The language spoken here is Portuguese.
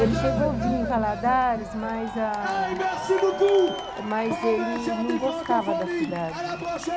Ele chegou, vinha em Valadares, mas ah mas ele... não gostava da cidade.